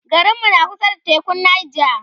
garinmu na kusa da tekun Nija